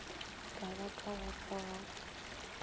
ka ba ka go rogaka